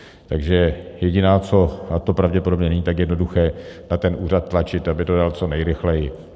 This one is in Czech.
Takže jediné, co - a to pravděpodobně není tak jednoduché, na ten úřad tlačit, aby to dal co nejrychleji.